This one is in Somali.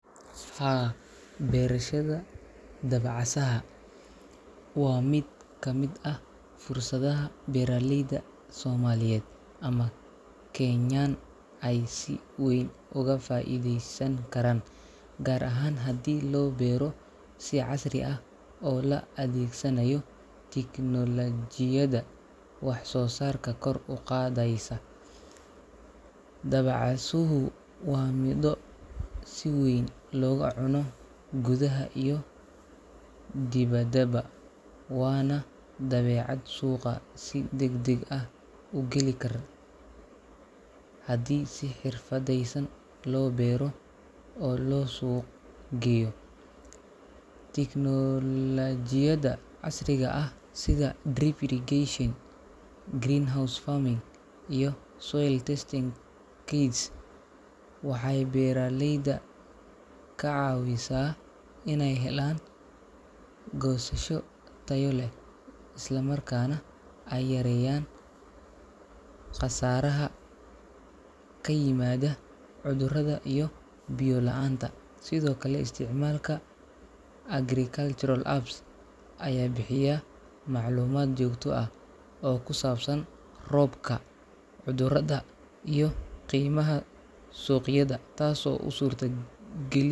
Haa, beerashadha dabacasaha waa mid ka mid ah fursadaha beeraleyda Soomaaliyeed ama Kenyaan ay si weyn uga faa’iideysan karaan, gaar ahaan haddii loo beero si casri ah oo la adeegsanayo tignoolajiyadda wax-soo-saarka kor u qaadaysa. Dabacasuhu waa midho si weyn looga cuno gudaha iyo dibaddaba, waana badeecad suuqa si degdeg ah u geli kar haddii si xirfadaysan loo beero oo loo suuq geeyo. Teknoolajiyada casriga ah sida drip irrigation, greenhouse farming, iyo soil testing kits waxay beeraleyda ka caawisaa inay helaan goosasho tayo leh, islamarkaana ay yareeyaan khasaaraha ka yimaada cudurrada iyo biyo la’aanta. Sidoo kale, isticmaalka agricultural apps ayaa bixiyaa macluumaad joogto ah oo kusaabsan roobka, cudurrada, iyo qiimaha suuqyada, taasoo u suurtogeli.